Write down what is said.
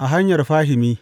a hanyar fahimi.